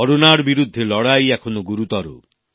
করোনার বিরুদ্ধে লড়াই এখনো গুরুতর